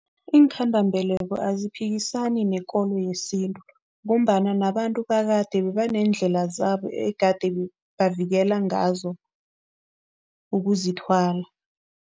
Iinkhandambeleko aziphikisana nekolo yesintu ngombana nabantu bakade bebaneendlela zabo egade bavikela ngazo ukuzithwala.